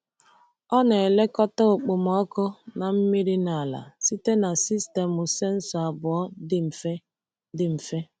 Ọ na-elekọta okpomọkụ na mmiri n’ala site na sistemụ sensọ abụọ dị mfe. dị mfe.